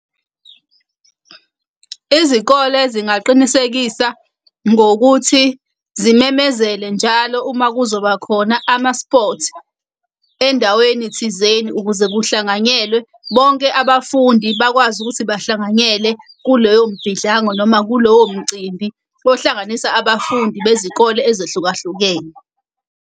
Izikole zingaqinisekisa ngokuthi zimemezele njalo uma kuzoba khona ama-sports endaweni thizeni ukuze kuhlanganyelwe bonke abafundi bakwazi ukuthi bahlanganyele kuleyo mbhidlalo noma kulowo mcimbi, ohlanganisa abafundi bezikole ezehlukahlukene.